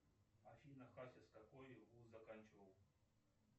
афина хасис какой вуз заканчивал